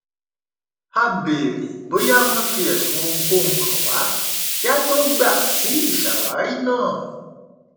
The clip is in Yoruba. a bèèrè bóyá wọn fi ẹsùn ohunkóhun kàn wá kí á tó gbà sí ìṣàwárí náà